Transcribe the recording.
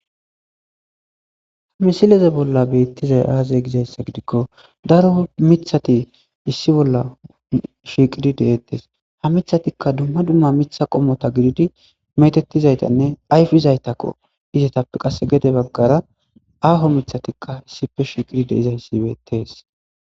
ha misileze bolla beettizay aaze gizayssa gidikko daro mithati issi bolla shiiqidi deettes ha mithatikka dumma dumma mitha qommota gididi metettizaytanne ayfi izaytakko izetappe qasse gede baggara aaho mithatikka issife shiiqidi de izayssi beettes